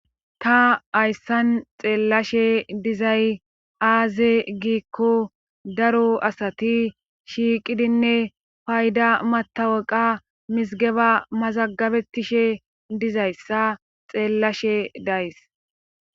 ta ayssan xeellashe dizay aaze giikko daro asati shiiqidinne payda mataweqa misigeba mazagabettishe dizayssa xeellashe days